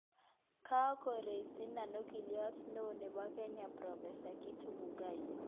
Kagoresinan ogiliot neoo nebo Kenya prof Githu Muigai